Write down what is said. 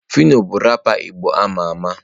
Phyno bu rápà igbo ama ama.